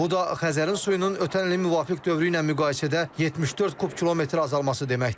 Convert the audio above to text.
Bu da Xəzərin suyunun ötən ilin müvafiq dövrü ilə müqayisədə 74 kub kilometr azalması deməkdir.